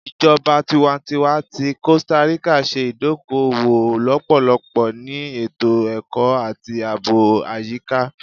Ijọba tiwantiwa ti Costa Rica ṣe idoko-owo lọpọlọpọ ni eto-ẹkọ ati aabo ayika